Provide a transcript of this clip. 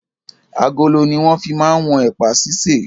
Agolo ni wọn fi máa ń wọn ẹ̀pà sise.